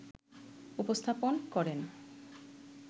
উপস্থাপন করেন